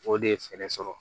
O de ye fɛɛrɛ sɔrɔ